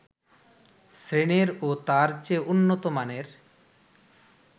শ্রেণীর ও তার চেয়ে উন্নত মানের